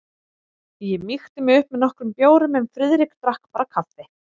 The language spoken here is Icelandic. Ég mýkti mig upp með nokkrum bjórum en Friðrik drakk bara kaffi.